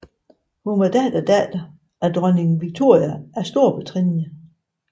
Hun var datterdatter af dronning Victoria af Storbritannien